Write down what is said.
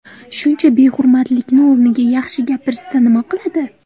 Shuncha behurmatlikni o‘rniga yaxshi gapirishsa nima qiladi?